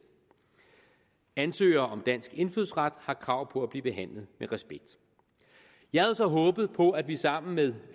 ansøgere om dansk indfødsret har krav på at blive behandlet med respekt jeg havde så håbet på at vi sammen med